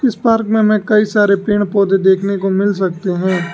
इस पार्क में हमें कई सारे पेड़ पौधे देखने को मिल सकते हैं।